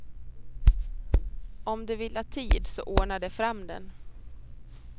Om de vill ha tid så ordnar de fram den.